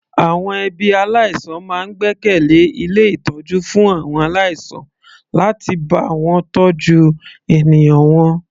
Àwọn ẹbí aláìsàn máa ń gbẹ́kẹ̀lẹ́ ilé ìtọ́jú fún àwọn aláìsàn láti bá wọn tọ́jú ènìyàn wọn.